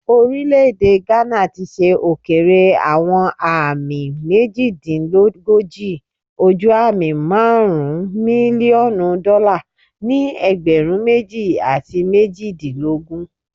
Orile-ede Ghana ti ṣe okeere awọn aami mejidinlogoji ojuami marun milionu dọla ni ẹgbẹrun meji ati mejidilogun